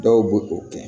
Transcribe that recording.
Dɔw b'o o kɛ